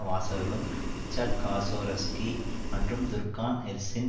வாசகர்களும் Richard Kasoroski மற்றும் Turkan Ersin